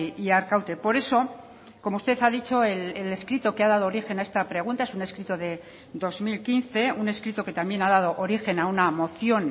y arkaute por eso como usted ha dicho el escrito que ha dado origen a esta pregunta es un escrito de dos mil quince un escrito que también ha dado origen a una moción